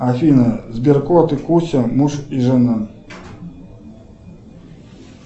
афина сберкот и куся муж и жена